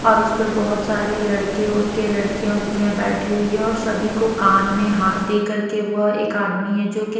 और उस पर बहुत सारे लड़के उड़के लड़कियां उड़कियां बैठी हुई है और सभी को कान में हाथ देकर के वह एक आदमी है जो--